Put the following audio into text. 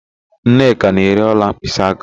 Nneka na-ere ọla mkpịsịaka.